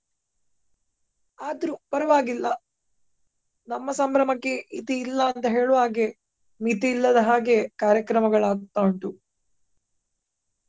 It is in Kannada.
ಆದ್ರೂ ಪರವಾಗಿಲ್ಲ ನಮ್ಮ ಸಂಭ್ರಮಕ್ಕೆ ಇತಿ ಇಲ್ಲ ಅಂತ ಹೇಳುವಾಗೆ ಮಿತಿಯಿಲ್ಲದ ಹಾಗೆ ಕಾರ್ಯಕ್ರಮಗಳು ಆಗ್ತಾ ಉಂಟು.